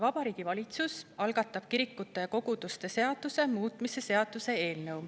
Vabariigi Valitsus algatab kirikute ja koguduste seaduse muutmise seaduse eelnõu.